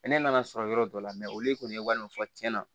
Sɛnɛ nana sɔrɔ yɔrɔ dɔ la olu kɔni ye walima fɔ cɛn na